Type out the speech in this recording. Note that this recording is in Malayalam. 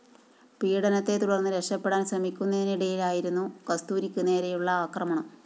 പീഡനത്തെ തുടര്‍ന്ന് രക്ഷപ്പെടാന്‍ ശ്രമിക്കുന്നിനിടെയായിരുന്നു കസ്തൂരിക്ക് നേരെയുള്ള ആക്രമണം